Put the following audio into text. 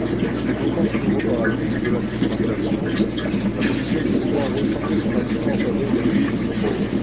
En développant son nouveau paradigme de la différenciation, la Commission dit vouloir recentrer son action en faveur des pays les plus pauvres.